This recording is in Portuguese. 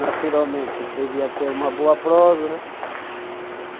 Naturalmente, devia ter uma boa prosa, né?